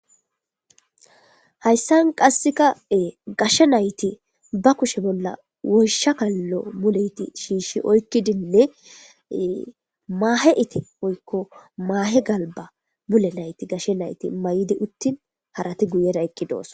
hayssan qasseka ee gashshe nayti ba kushe bolla wosha kallo muleyti shiishi oykkidinne maahe iti oykko maahe galba mule nayti gashshe nayti may7di uttin harati guyera eqqi doos